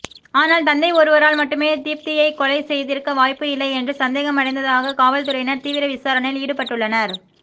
ஆனால் தந்தை ஒருவரால் மட்டுமே தீப்தியை கொலை செய்திருக்க வாய்ப்பு இல்லை என்று சந்தேகமடைந்தகாவல்துறையினர் தீவிர விசாரணையில் ஈடுபட்டுள்ளனர்